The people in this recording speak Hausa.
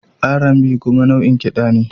R&B kuma nau'in kiɗa ne